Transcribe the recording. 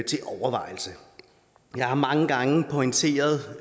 til overvejelse jeg har mange gange pointeret